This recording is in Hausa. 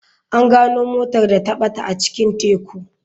An gano motar da ta bata a cikin teku.